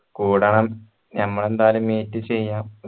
കൂടണം ഞമ്മള് എന്തായാലും meet ചെയ്യണം